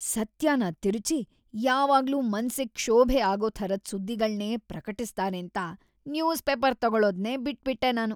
ಸತ್ಯನ ತಿರುಚಿ ಯಾವಾಗ್ಲೂ ಮನ್ಸಿಗ್ ಕ್ಷೋಭೆ ಆಗೋಥರದ್ ಸುದ್ದಿಗಳ್ನೇ ಪ್ರಕಟಿಸ್ತಾರೇಂತ ನ್ಯೂಸ್‌ ಪೇಪರ್‌ ತಗೊಳೋದ್ನೇ ಬಿಟ್ಬಿಟ್ಟೆ ನಾನು.